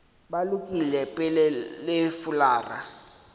ba lokile pele le fulara